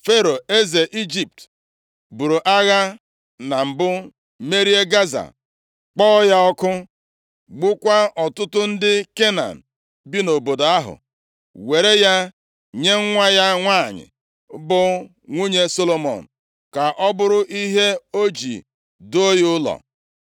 Fero eze Ijipt buru agha na mbụ merie Gaza, kpọọ ya ọkụ, gbukwaa ọtụtụ ndị Kenan bi nʼobodo ahụ, were ya nye nwa ya nwanyị, bụ nwunye Solomọn, ka ọ bụrụ ihe o ji duo ya ụlọ.